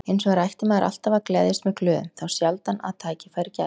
Hins vegar ætti maður alltaf að gleðjast með glöðum, þá sjaldan að tækifæri gæfist.